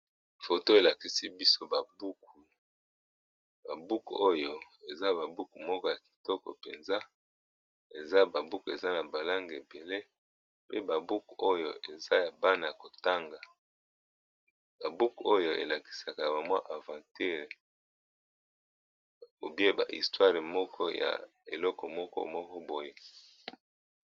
Photo elakisi biso ba buku, ba buku yango ezalaka na masapo moko ya kitoko na kati